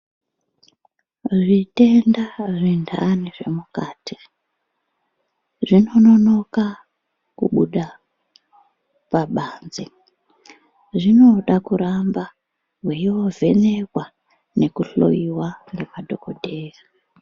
Zvitenda zvintani zvemukati zvinononoka kubuda pabanze. Zvinoda kuramba mweiovhenekwa nekuhloyiwa ngemadhokodheya.